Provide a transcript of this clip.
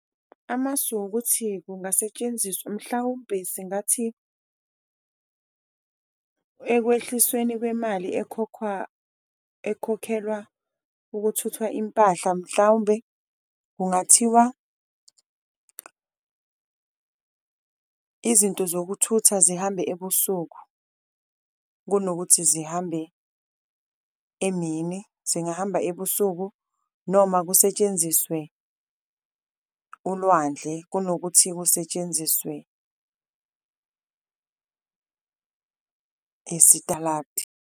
Amasu ukuthi kungasetshenziswa mhlawumpe singathi ekwehlisweni kwemali ekhokhwa, ekhokhelwa ukuthutha impahla, mhlawumbe kungathiwa izinto zokuthutha zihambe ebusuku kunokuthi zihambe emini zingahamba ebusuku. Noma kusetshenziswe ulwandle kunokuthi kusetshenziswe isitaladi.